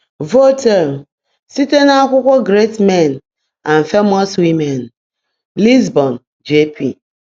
Voltaire: Site n'akwụkwọ Great Men and Famous Women; Lisbon: J.P.